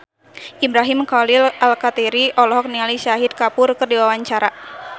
Ibrahim Khalil Alkatiri olohok ningali Shahid Kapoor keur diwawancara